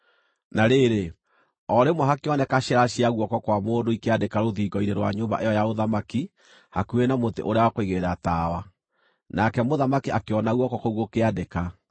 Na rĩrĩ, o rĩmwe hakĩoneka ciara cia guoko kwa mũndũ ikĩandĩka rũthingo-inĩ rwa nyũmba ĩyo ya ũthamaki hakuhĩ na mũtĩ ũrĩa wa kũigĩrĩra tawa. Nake mũthamaki akĩona guoko kũu gũkĩandĩka.